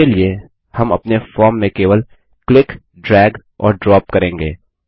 इसके लिए हम अपने फॉर्म में केवल क्लिक ड्रैग और ड्रॉप करेंगे